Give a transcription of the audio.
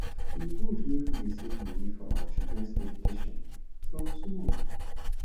e good make we dey save money for our childrens education from small